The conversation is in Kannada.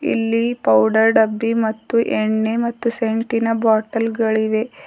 ಇಲ್ಲಿ ಪೌಡರ್ ಡಬ್ಬಿ ಮತ್ತು ಎಣ್ಣೆ ಮತ್ತು ಸೆಂಟಿನ ಬಾಟಲ್ ಗಳಿವೆ.